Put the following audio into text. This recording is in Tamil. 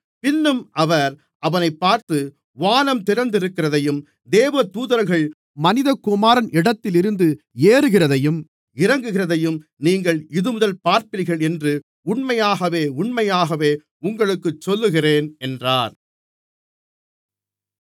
பின்னும் அவர் அவனைப் பார்த்து வானம் திறந்திருக்கிறதையும் தேவதூதர்கள் மனிதகுமாரன் இடத்திலிருந்து ஏறுகிறதையும் இறங்குகிறதையும் நீங்கள் இதுமுதல் பார்ப்பீர்கள் என்று உண்மையாகவே உண்மையாகவே உங்களுக்குச் சொல்லுகிறேன் என்றார்